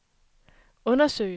undersøge